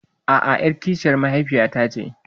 A'a, ƴar kishiyar mahaifiyata ce.